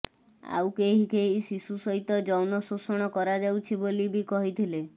ଆଉ କେହି କେହି ଶିଶୁ ସହିତ ଯୌନ ଶୋଷଣ କରାଯାଉଛି ବୋଲି ବି କହିଥିଲେ